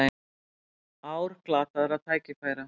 Ár glataðra tækifæra